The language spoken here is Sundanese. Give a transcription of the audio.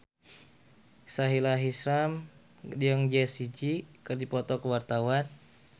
Sahila Hisyam jeung Jessie J keur dipoto ku wartawan